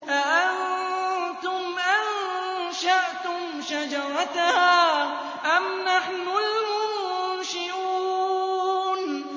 أَأَنتُمْ أَنشَأْتُمْ شَجَرَتَهَا أَمْ نَحْنُ الْمُنشِئُونَ